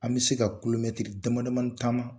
An bɛ se ka damadamanin taama